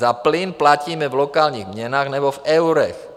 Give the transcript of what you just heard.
Za plyn platíme v lokálních měnách nebo v eurech.